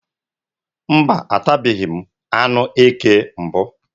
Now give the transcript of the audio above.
Mba, atabeghi m anụ eke mbụ.